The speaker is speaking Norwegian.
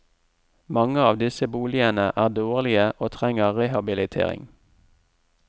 Mange av disse boligene er dårlige og trenger rehabilitering.